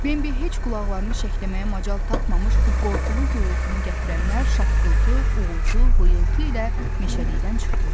Bembi heç qulaqlarını şəkləməyə macal tapmamış bu qorxulu gurultunu gətirənlər şaqqıltı, uğultu, vıyıltı ilə meşəlikdən çıxdılar.